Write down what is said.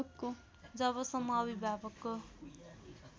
जबसम्म अभिभावकको